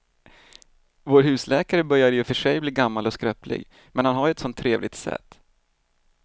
Vår husläkare börjar i och för sig bli gammal och skröplig, men han har ju ett sådant trevligt sätt!